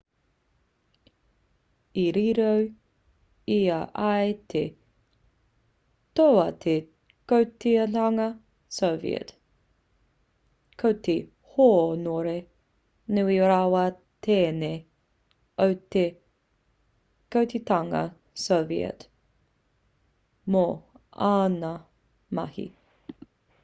i riro i a ia te toa o te kotahitanga soviet ko te hōnore nui rawa tēnei o te kotahitanga soviet mō āna mahi